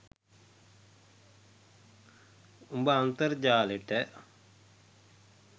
උඹ අන්තර්ජාලෙට